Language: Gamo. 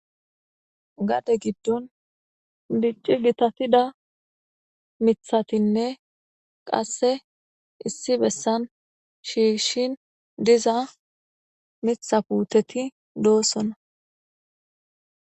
gade giddon dicci gitatida mithatinne qasse issi bessan shiishshin diza mitha puteti doossona